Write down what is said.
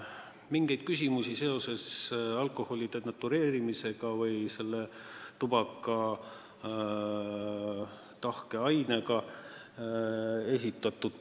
Mingeid küsimusi alkoholi denatureerimise või tubaka tahke aseaine kohta ei esitatud.